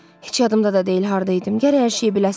Heç yadımda da deyil harda idim, gərək hər şeyi biləsiz.